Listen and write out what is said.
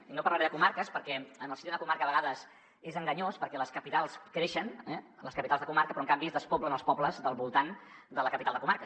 i no parlaré de comarques perquè en el si d’una comarca a vegades és enganyós perquè les capitals creixen les capitals de comarca però en canvi es despoblen els pobles del voltant de la capital de comarca